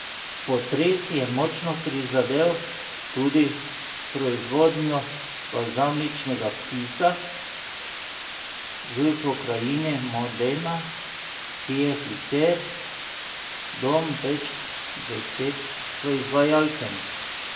Potres je močno prizadel tudi proizvodnjo balzamičnega kisa v pokrajini Modena, ki je sicer dom več deset proizvajalcem.